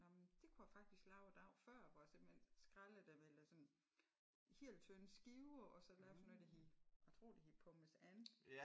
Nå men det kunne jeg faktisk lave a dag før hvor jeg simpelthen skrællede dem eller sådan helt tynde skiver og så lavede sådan noget der hed jeg tror det hed pommes Ann